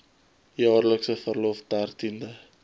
jaarlikse verlof dertiende